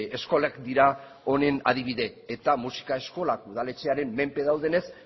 eskolak dira honen adibide eta musika eskolak udaletxearen menpe daudenez